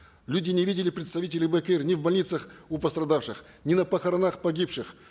люди не видели представителей бек эйр ни в больницах у пострадавших ни на похоронах погибших